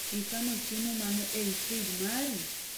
ikano chiemo mane ei frij mari?